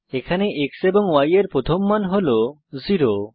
এখানে x এবং y এর প্রথম মান হল 0